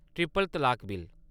triple तलाक bill